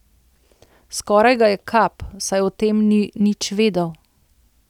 Skoraj ga je kap, saj o tem ni nič vedel.